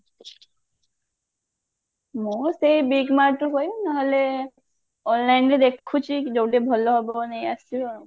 ମୁଁ ସେଇ big mart ରୁ ନହେଲେ online ରେ ଦେଖୁଛି ଯଉଠି ଭଲ ହବ ନେଇଆସିବି ଆଉ